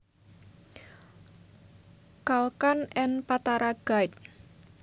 Kalkan and Patara guide